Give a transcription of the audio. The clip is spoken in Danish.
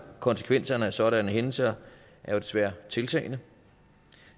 konsekvenserne af sådanne hændelser er desværre tiltagende og